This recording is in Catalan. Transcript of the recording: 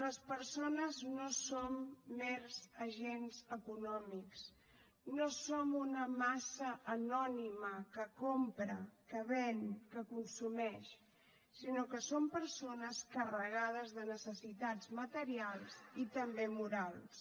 les persones no som mers agents econòmics no som una massa anònima que compra que ven que consumeix sinó que som persones carregades de necessitats materials i també morals